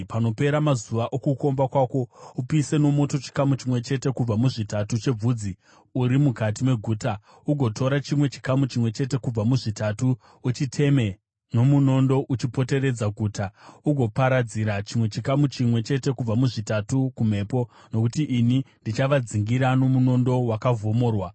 Panopera mazuva okukomba kwako, upise nomoto chikamu chimwe chete kubva muzvitatu chebvudzi uri mukati meguta. Ugotora chimwe chikamu chimwe chete kubva muzvitatu uchiteme nomunondo uchipoteredza guta. Ugoparadzira chimwe chikamu chimwe chete kubva muzvitatu kumhepo. Nokuti ini ndichavadzingirira nomunondo wakavhomorwa.